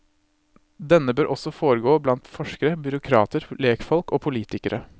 Denne bør også foregå blant forskere, byråkrater, lekfolk og politikere.